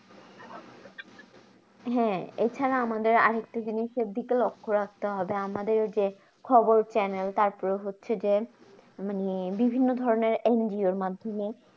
হ্যাঁ এছাড়া আমাদের আরেকটা জিনিসের দিকে লক্ষ রাখতে হবে আমাদের যে খবর channel তারপরে হচ্ছে যে মানে বিভিন্ন ধরণের এন জি ও র মাধ্যমে